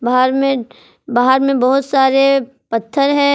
बाहर में बाहर में बहुत सारे पत्थर है।